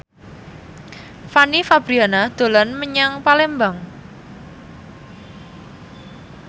Fanny Fabriana dolan menyang Palembang